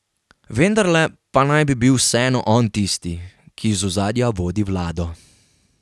Vendarle pa naj bi bil vseeno on tisti, ki iz ozadja vodi vlado.